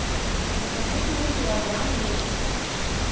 закажите мне килограмм лука